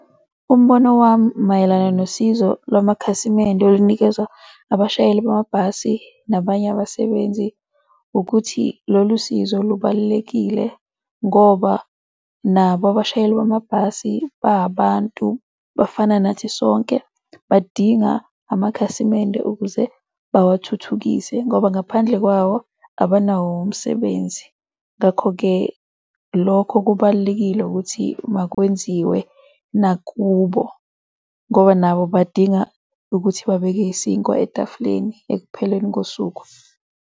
Umbono wami mayelana nosizo lwamakhasimende olunikezwa abashayeli bamabhasi nabanye abasebenzi ukuthi lolu sizo lubalulekile ngoba nabo abashayeli bamabhasi bahabantu, bafana nathi sonke. Badinga amakhasimende ukuze bawathuthukise ngoba ngaphandle kwawo abanawo umsebenzi. Ngakho-ke lokho kubalulekile ukuthi makwenziwe nakubo ngoba nabo badinga ukuthi babeke isinkwa etafuleni ekupheleni kosuku.